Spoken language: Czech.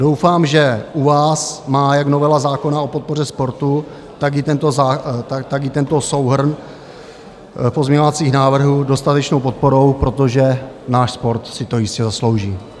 Doufám, že u vás má jak novela zákona o podpoře sportu, tak i tento souhrn pozměňovacích návrhů dostatečnou podporu, protože náš sport si to jistě zaslouží.